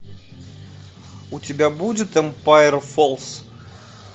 у тебя будет эмпайр фоллс